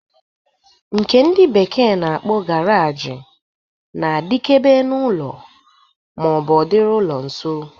Nke ndị bekee na-akpọ garaji na-adikebe n'ụlọ ma ọ bụ ọ dịrị ụlọ nso.